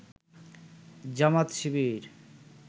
Jamaat Shibir